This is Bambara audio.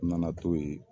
N nana to yen